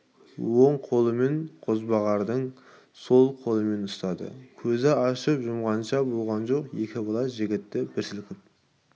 оң қолымен қозбағарды сол қолымен ұстады көзді ашып-жұмғанша болған жоқ екі бала жігітті бір сілкіп